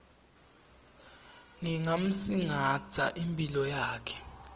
ngingamsingatsa imphilo yakhe